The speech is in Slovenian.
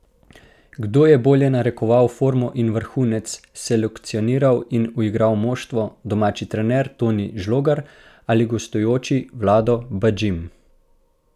Kdo je bolje narekoval formo in vrhunec, selekcioniral in uigral moštvo, domači trener Tonči Žlogar ali gostujoči Vlado Badžim?